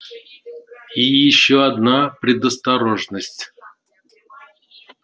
и ещё одна предосторожность